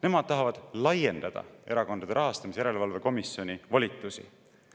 Nemad tahavad laiendada Erakondade Rahastamise Järelevalve Komisjoni volitusi.